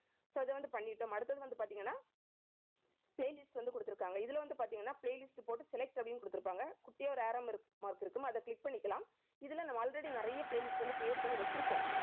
so அதை வந்து பண்ணிட்டோம். அடுத்தது வந்து பாத்தீங்கன்னா playlist வந்து குடுத்திருக்காங்க. இதுல வந்து பாத்தீங்கன்னா playlist போட்டு select அப்படின்னு குடுத்திருப்ப குட்டியா ஒரு arrow mark இருக்கும் அதை click பண்ணிக்கலாம். இதுல நம்ம already நிறைய playlist வந்து create பண்ணி வச்சிருப்போம்